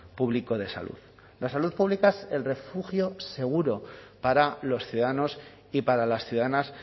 público de salud la salud pública es el refugio seguro para los ciudadanos y para las ciudadanas